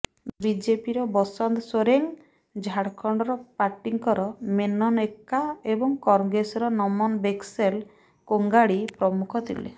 ବିଜେପିର ବସନ୍ତ ସୋରେଂଗ ଝାରଖଣ୍ଡ ପାର୍ଟୀଙ୍କର ମେନନ ଏକ୍କା ଏବଂ କଂଗ୍ରେସର ନମନ ବିକ୍ସେଲ କୋଂଗାଡୀ ପ୍ରମୁଖ ଥିଲେ